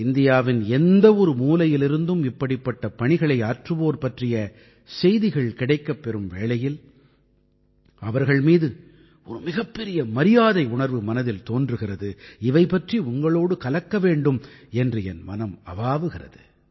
இந்தியாவின் எந்த ஒரு மூலையிலிருந்தும் இப்படிப்பட்ட பணிகளை ஆற்றுவோர் பற்றிய செய்திகள் கிடைக்கப் பெறும் வேளையில் அவர்கள் மீது ஒரு மிகப் பெரிய மரியாதையுணர்வு மனதில் தோன்றுகிறது இவை பற்றி உங்களோடு கலக்க வேண்டும் என்று என் மனம் அவாவுகிறது